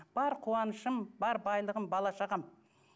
бар қуанышым бар байлығым бала шағам